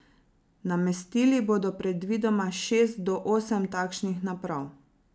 Namestili bodo predvidoma šest do osem takšnih naprav.